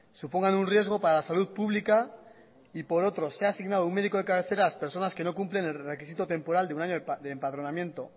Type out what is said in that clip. supongan un riesgo para la salud pública y por otro sea asignado un médico de cabecera a las personas que no cumplen el requisito temporal de un año de empadronamiento